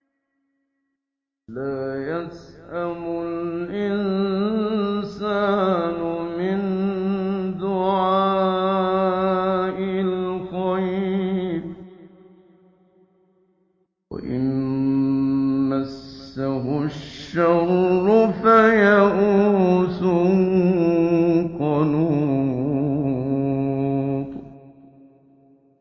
لَّا يَسْأَمُ الْإِنسَانُ مِن دُعَاءِ الْخَيْرِ وَإِن مَّسَّهُ الشَّرُّ فَيَئُوسٌ قَنُوطٌ